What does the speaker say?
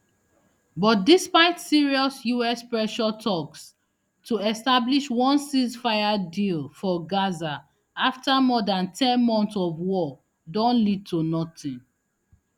but despite serious us pressure toks to establish one ceasefire deal for gaza afta more dan ten months of war don lead to notin